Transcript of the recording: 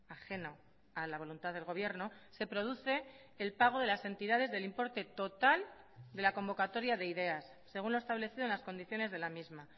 ajeno a la voluntad del gobierno se produce el pago de las entidades del importe total de la convocatoria de ideas según lo establecido en las condiciones de la misma